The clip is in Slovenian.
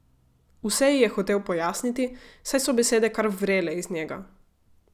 Vse ji je hotel pojasniti, saj so besede kar vrele iz njega.